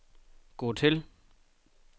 gå til